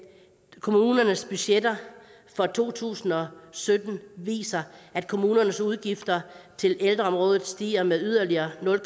kommunernes budgetter for to tusind og sytten viser at kommunernes udgifter til ældreområdet stiger med yderligere nul